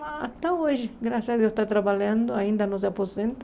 Mas até hoje, graças a Deus, está trabalhando, ainda não se aposenta.